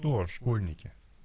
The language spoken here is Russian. то школьники